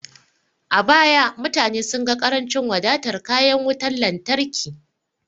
A baya, mutane sun ga ƙarancin wadatar kayan wutar lantarki.